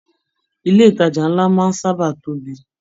Ilé ìtàjà nlá máa n sábà tóbi.